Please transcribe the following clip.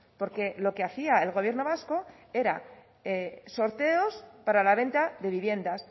porque lo que hacía el gobierno vasco era sorteos para la venta de viviendas